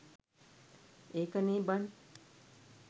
එකනේ බන්